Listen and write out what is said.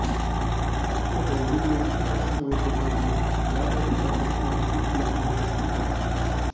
हे होर्डिंग नेमके कशामुळे कोसळले याबाबत अद्याप माहिती उपलब्ध होऊ शकली नाही